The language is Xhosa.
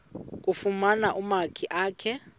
kufuna umakhi akhe